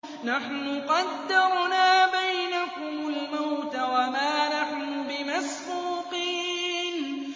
نَحْنُ قَدَّرْنَا بَيْنَكُمُ الْمَوْتَ وَمَا نَحْنُ بِمَسْبُوقِينَ